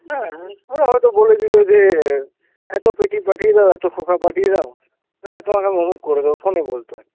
হ্যাঁ, ওরা হয়তো বলে দিল যে এত পেটি পাঠিয়ে দাও, এত খোকা পাঠিয়ে দাও না হলে তোমাকে আমি অমুক করে দেবো phone এ বলতো,